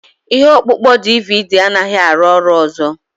Ihe ọkpụkpọ DVD anaghị arụ ọrụ ọzọ.